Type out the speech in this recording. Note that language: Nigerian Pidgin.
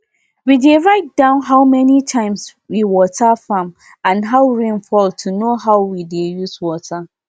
we dey write down how many times we water farm and how rain fall to know how we dey use water